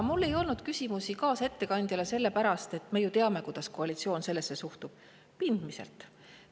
Mul ei olnud küsimusi kaasettekandjale sellepärast, et me ju teame, kuidas koalitsioon sellesse suhtub – pindmiselt!